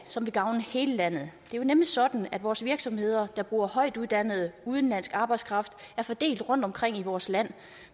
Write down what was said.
som vil gavne hele landet det er jo nemlig sådan at vores virksomheder der bruger højtuddannet udenlandsk arbejdskraft er fordelt rundtomkring i vores land og